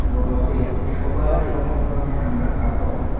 বড়দের সবার সব ধরনের আমরা কাপড়--